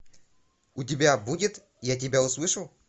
у тебя будет я тебя услышал